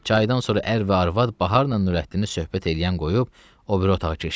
Çaydan sonra ər və arvad Baharnan Nurəddini söhbət eləyən qoyub o biri otağa keçdilər.